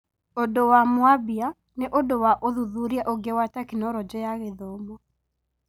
ũndũ wa mwambia nĩũndũ wa ũthuthuria ũngĩ wa Tekinoronjĩ ya Githomo